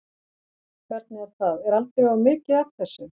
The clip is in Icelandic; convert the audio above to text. Hvernig er það, er aldrei of mikið af þessu?